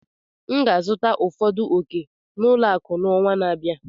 M ga-azụta ụfọdụ ọ̀kè n'ụlọ akụ n'ọnwa na-abịa.